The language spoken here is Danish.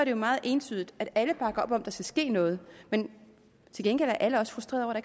jo meget entydigt at alle bakker op om at der skal ske noget men til gengæld er alle også frustrerede